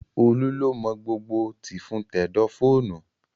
Olú ló mọ gbogbo tìfun tẹ̀dọ̀ fóònù